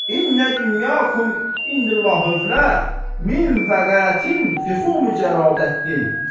İnnə dünya kümin vəqətin fidətthin.